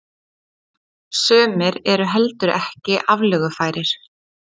Sumir eru heldur ekki aflögufærir.